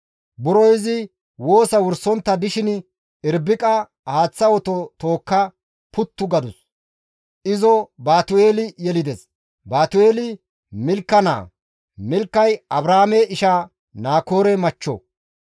Buro izi woosa wursontta dishin Irbiqay haaththa oto tookka ekkada puttu gadus; izo Baatu7eeli yelides; Baatu7eeli Milka naa; Milkay Abrahaame isha Naakoore machcho.